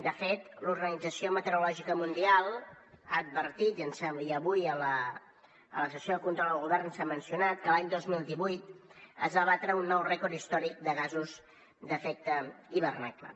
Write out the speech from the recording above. de fet l’organització meteorològica mundial ha advertit i avui a la sessió de control al govern s’ha mencionat que l’any dos mil divuit es va batre un nou rècord històric de gasos d’efecte hivernacle